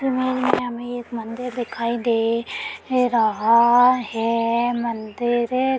हमें एक मंदिर दिखाई दे रहा है। मंदिर --